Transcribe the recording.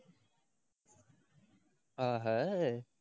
ஆஹ் அஹ்